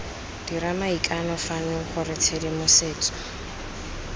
dira maikano fano gore tshedimosetso